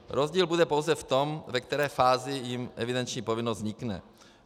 Rozdíl bude pouze v tom, ve které fázi jim evidenční povinnost vznikne.